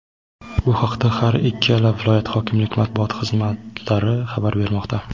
Bu haqda har ikkala viloyat hokimlik Matbuot xizmatlari xabar bermoqda.